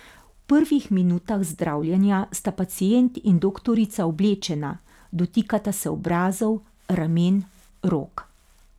V prvih minutah zdravljenja sta pacient in doktorica oblečena, dotikata se obrazov, ramen, rok.